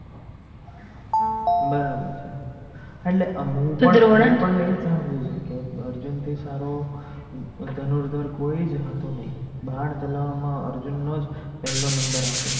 બરાબર છે. હું પણ એજ સંબધું છું કે અર્જુન થી સારો ધનુરધાર કોઈજ હતો નઈ બાણ ચલાવવામાં અર્જુન નોજ પહલો number આવતો